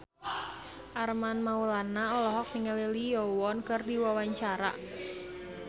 Armand Maulana olohok ningali Lee Yo Won keur diwawancara